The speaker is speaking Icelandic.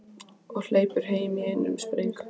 Og hleypur heim í einum spreng.